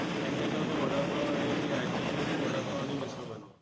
आणि त्याच्यामध्ये वडापाव आणि ती आजी जी आहे ती वडापाव आणि मिसळ बनवते.